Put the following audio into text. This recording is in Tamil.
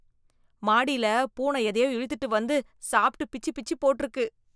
மாடியில, பூனை எதையோ இழுத்துட்டு வந்து, சாப்ட்டு பிச்சி பிச்சி போட்ருக்கு...